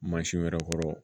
Mansinw yɛrɛ kɔrɔ